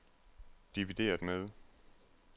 divideret med